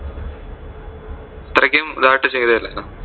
അത്രയ്ക്കും ഇതായിട്ട് ചെയ്തതല്ലായുന്നോ